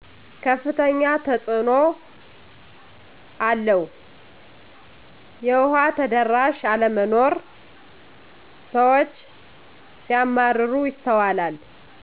ከፍተኛ ተፅእኖ አለው የዉሃ ተደራሽ አለመኖር ስዎች ሲያማረሩ ይስተዋላል